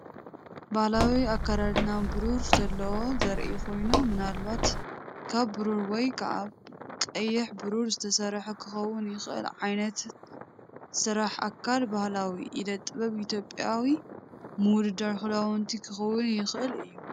ባህላዊ ኣካዳድና ብሩር ዘለዎ ዘርኢ ኮይኑ፡ ምናልባት ካብ ብሩር ወይ ካብ ቅይሕ ብሩር ዝተሰርሐ ክኸውን ይኽእል። ዓይነት ስራሕ ኣካል ባህላዊ ኢደ ጥበብ ኢትዮጵያዊ ምውድዳር ክዳውንቲ ክኸውን ይኽእል እዩ።